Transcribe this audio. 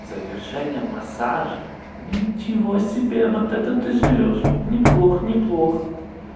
завершение массажа ничего себе вот это ты живёшь неплохо неплохо